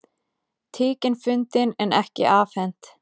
Tíkin fundin en ekki afhent